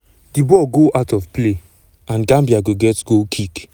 78 mins 78 mins - a cooling break dey underway.